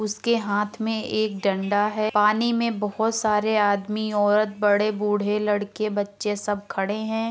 उसके हाथ में एक डंडा है। पानी में बोहोत सारे आदमीऔरत बड़े बुढे लड़के बच्चे सब खड़े हैं।